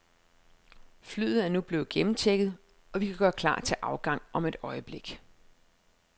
Flyet er nu blevet gennemchecket, og vi kan gøre klar til afgang om et øjeblik.